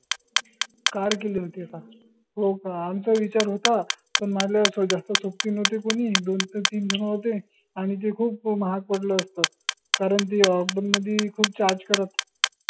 car केली होती का? हो का आमचा विचार होता पन मला जास्त सोबती नव्हते कोनी दोन ते तीन झन होते आनि ते खूप माहाग पडलं असत कारन ते lockdown मदी खूप charge करत